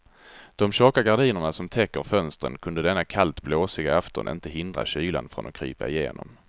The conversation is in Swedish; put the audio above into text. De tjocka gardiner som täcker fönstren kunde denna kallt blåsiga afton inte hindra kylan från att krypa igenom.